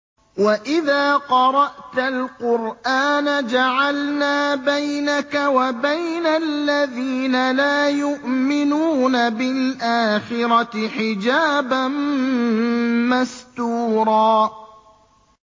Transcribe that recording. وَإِذَا قَرَأْتَ الْقُرْآنَ جَعَلْنَا بَيْنَكَ وَبَيْنَ الَّذِينَ لَا يُؤْمِنُونَ بِالْآخِرَةِ حِجَابًا مَّسْتُورًا